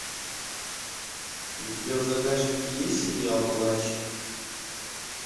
у тебя в загашнике есть сериал палач